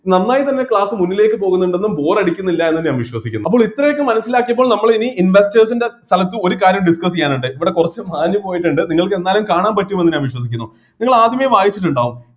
നന്നായി തന്നെ class മുന്നിലേക്ക് പോകുന്നുണ്ടെന്നും bore അടിക്കുന്നില്ലായെന്നും ഞാൻ വിശ്വസിക്കുന്നു അപ്പോൾ ഇത്രയൊക്കെ മനസ്സിലാക്കിയപ്പോൾ നമ്മൾ ഇനി investors ൻ്റെ സ്ഥലത്ത് ഒരു കാര്യം discuss ചെയ്യാനുണ്ട് ഇവിടെ കുറച്ച് മാഞ്ഞുപോയിട്ട് ഇണ്ട് നിങ്ങൾക്ക് എന്നാലും കാണാൻ പറ്റുമെന്ന് ഞാൻ വിശ്വസിക്കുന്നു നിങ്ങൾ ആദ്യമെ വായിച്ചിട്ടുണ്ടാവും